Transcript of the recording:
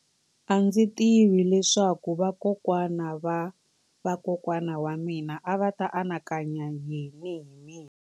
A ndzi tivi leswaku vakokwana-va-vakokwana va mina a va ta anakanya yini hi mina.